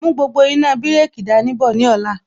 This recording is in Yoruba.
Mú gbogbo iná bireki dání bọ̀ ní ọ̀la